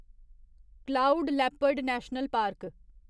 cloud leopard national park